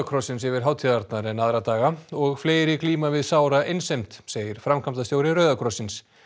krossins yfir hátíðirnar en aðra daga og fleiri glíma við sára einsemd segir framkvæmdastjóri Rauða krossins